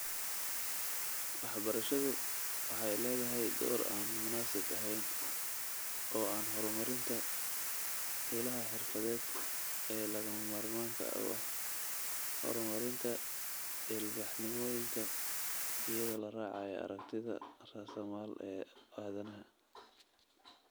Waxbarashadu waxay leedahay door aan munaasib ahayn oo ah horumarinta ilaha xirfadeed ee lagama maarmaanka u ah horumarinta ilbaxnimooyinka, iyadoo la raacayo aragtida raasamaal ee aadanaha.